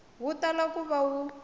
wu tala ku va wu